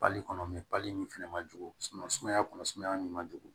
Pali kɔnɔ pali nin fɛnɛ ma jugu sumaya kɔnɔ sumaya nin ma jugu